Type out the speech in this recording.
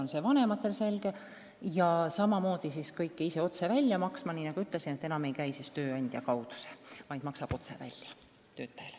Nagu ma juba ütlesin, enam ei käi see tööandja kaudu, vaid Sotsiaalkindlustusamet maksab raha välja otse töötajale.